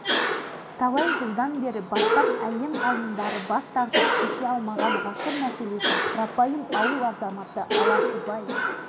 оған қажетті заттарды алыстан іздемей-ақ жергілікті құрастырды күндіз-түні ұйқы көрмей жүріп бөгетті салып шықты болжам